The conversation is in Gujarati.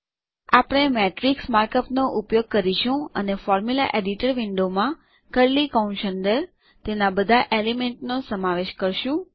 આપણે મેટ્રિક્સ માર્કઅપ નો ઉપયોગ કરીશું અને ફોર્મ્યુલા એડિટર વિન્ડોમાં કર્લી કૌંસ અંદર તેના બધા એલિમેન્ટનો સમાવેશ કરો